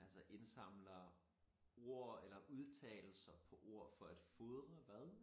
altså indsamler ord eller udtalelser på ord for at fodre hvad?